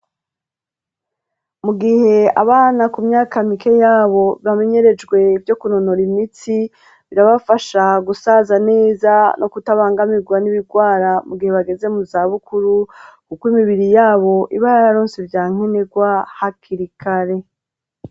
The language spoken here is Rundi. Mu gihe abana ku myaka mike yabo bamenyerejwe vyo kunonora imitsi ,birabafasha gusaza neza no kutabangamirwa n'ibigwara mu gihe bageze mu zabukuru, kuko imibiri yabo iba yararonse vya nkenegwa hakirikare.